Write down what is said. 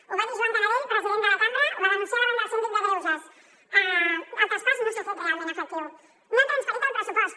ho va dir joan canadell president de la cambra ho va denunciar davant del síndic de greuges el traspàs no s’ha fet realment efectiu no han transferit el pressupost